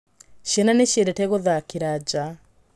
Ciana nĩ ciendete gũthakĩra nja.